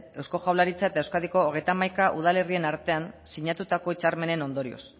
eusko jaurlaritza eta euskadiko hogeita hamaika udalerrien artean sinatutako hitzarmenen ondorioz